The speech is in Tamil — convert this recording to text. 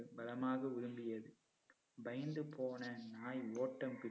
பலமாக உழும்பியது. பயந்து போன நாய் ஓட்டம் பிடித்து